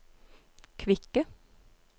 kvikke